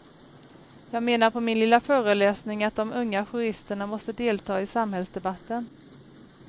Jag menar på min lilla föreläsning att de unga juristerna måste delta i samhällsdebatten.